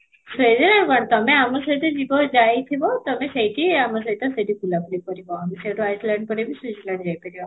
ସେଇଆ but ତୋମେ ଆମ ସହିତ ଯିବ ଯାଇଥିବ ତମେ ସେଇଠି ହିଁ ଆମ ସହିତ ବୁଲା ବୁଲି କରିବ ଆମ ସାଙ୍ଗରେ Iceland ପରେ ବି switzerland ଯାଇ ପାରିବ